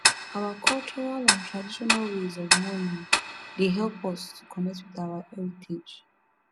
our cultural and traditional ways of mourning dey help us to connect with our heritage